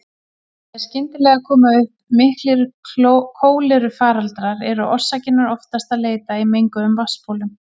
Þegar skyndilega koma upp miklir kólerufaraldrar er orsakarinnar oftast að leita í menguðum vatnsbólum.